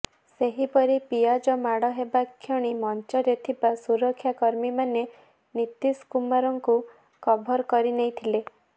ସେହିପରି ପିଆଜ ମାଡ଼ ହେବା କ୍ଷଣି ମଞ୍ଚରେ ଥିବା ସୁରକ୍ଷାକର୍ମୀମାନେ ନୀତୀଶ କୁମାରଙ୍କୁ କଭର କରି ନେଇଥିଲେ